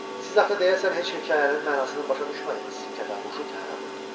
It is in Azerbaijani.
Siz axı deyəsən heç hekayənin mənasını başa düşmədiniz, Kətanquşu tənə vurdu.